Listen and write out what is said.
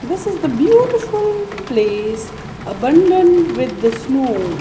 this is the beautiful place abundant with the snow.